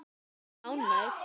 Ertu ánægð?